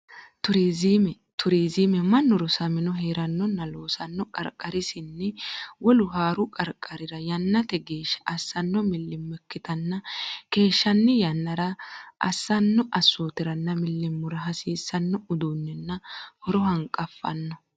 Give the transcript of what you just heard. Turizime Turizime mannu rosamino hee’rannonna loosanno qarqarinsanni wolu haaru qarqarira yannate geeshsha assanno millimmo ikkitanna keeshshan- yannara assanno assootiranna millimmora hasiisanno uduunnenna horono hanqafanno.